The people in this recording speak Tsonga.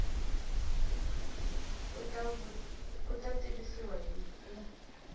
u ta tivisiwa hi ku